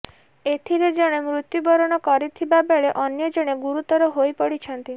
ଏଥିରେ ଜଣେ ମୃତ୍ୟୁ ବରଣ କରିଥିବା ବେଳେ ଅନ୍ୟ ଜଣେ ଗୁରୁତର ହୋଇ ପଡିଛନ୍ତି